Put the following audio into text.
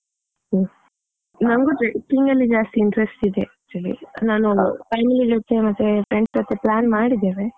ಹ್ಮ್, ನನ್ಗು trucking ಅಲ್ಲಿ ಜಾಸ್ತಿ interest ಇದೆ actually , ನಾನ್ family ಜೊತೆ ಮತ್ತೆ friends ಜೊತೆ plan ಮಾಡಿದ್ದೇವೆ.